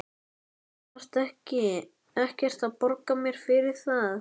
Þú þarft ekkert að borga mér fyrir það.